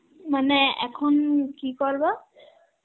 মানে এখন কি করবা?